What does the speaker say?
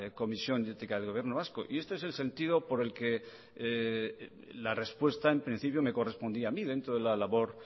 comisión de ética del gobierno vasco y este es el sentido por el que la respuesta en principio me correspondía a mí dentro de la labor